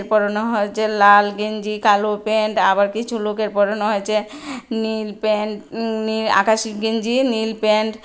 পরনে হয়েছে লাল গেঞ্জি কালো প্যান্ট আবার কিছু লোকের পরনে হয়েছে নীল প্যান্ট উম নীল-আকাশি গেঞ্জি নীল প্যান্ট ।